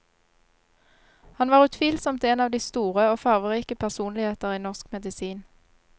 Han var utvilsomt en av de store og farverike personligheter i norsk medisin.